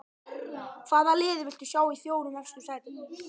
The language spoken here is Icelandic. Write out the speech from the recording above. Hvaða lið viltu sjá í fjórum efstu sætunum?